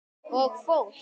Og fólk!